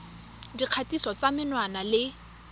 ya dikgatiso tsa menwana le